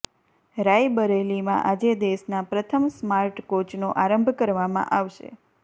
રાયબરેલીમાં આજે દેશના પ્રથમ સ્માર્ટ કોચનો આરંભ કરવામાં આવશે